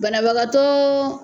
Banabagatɔ